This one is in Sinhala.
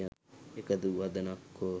එකදු වදනක් හෝ